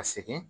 Ka segin